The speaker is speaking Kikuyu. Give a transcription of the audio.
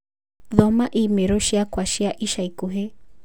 Thoma i-mīrū ciakwa cia ica ikuhĩ